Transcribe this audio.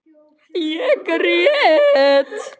Ég grét.